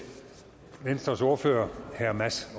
venstres ordfører herre mads